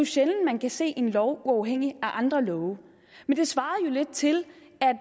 sjældent man kan se en lov uafhængigt af andre love men det svarer jo lidt til